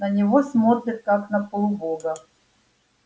на него смотрят как на полубога